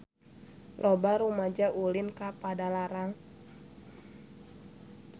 Loba rumaja ulin ka Padalarang